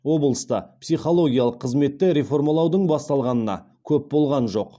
облыста психологиялық қызметті реформалаудың басталғанына көп болған жоқ